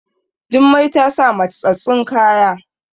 Jummai ta sa mattsattun kaya